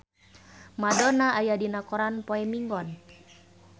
Madonna aya dina koran poe Minggon